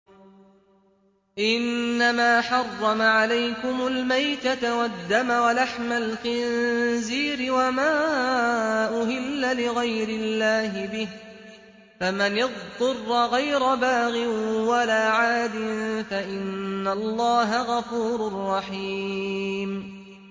إِنَّمَا حَرَّمَ عَلَيْكُمُ الْمَيْتَةَ وَالدَّمَ وَلَحْمَ الْخِنزِيرِ وَمَا أُهِلَّ لِغَيْرِ اللَّهِ بِهِ ۖ فَمَنِ اضْطُرَّ غَيْرَ بَاغٍ وَلَا عَادٍ فَإِنَّ اللَّهَ غَفُورٌ رَّحِيمٌ